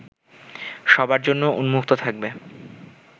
সবার জন্য উন্মুক্ত থাকবে